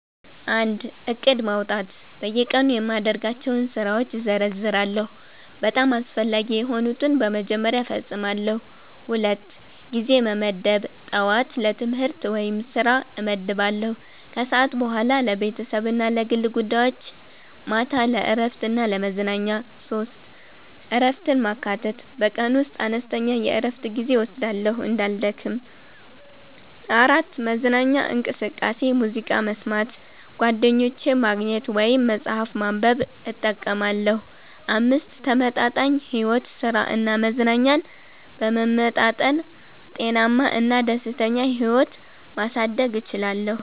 1. ዕቅድ ማውጣት በየቀኑ የማደርጋቸውን ስራዎች እዘርዝራለሁ፤ በጣም አስፈላጊ የሆኑትን በመጀመሪያ እፈጽማለሁ። 2. ጊዜ መመደብ ጠዋት ለትምህርት/ስራ እመድባለሁ ከሰዓት በኋላ ለቤተሰብ እና ለግል ጉዳዮች ማታ ለእረፍት እና ለመዝናኛ 3. እረፍትን ማካተት በቀን ውስጥ አነስተኛ የእረፍት ጊዜ እወስዳለሁ እንዳልደክም። 4. መዝናኛ እንቅስቃሴ ሙዚቃ መስማት፣ ጓደኞችን ማግኘት ወይም መጽሐፍ ማንበብ እጠቀማለሁ። 5. ተመጣጣኝ ሕይወት ሥራ እና መዝናኛን በመመጣጠን ጤናማ እና ደስተኛ ሕይወት ማሳደግ እችላለሁ።